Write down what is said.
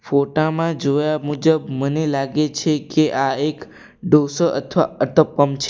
ફોટા માં જોયા મુજબ મને લાગે છે કે આ એક ઢોષો અથવા અતપમ છે.